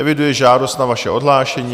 Eviduji žádost o vaše odhlášení.